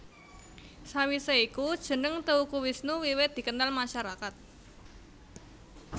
Sawise iku jeneng Teuku Wisnu wiwit dikenal masyarakat